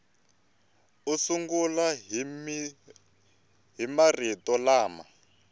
u sungula hi marito lama